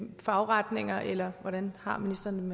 fagretninger eller hvordan har ministeren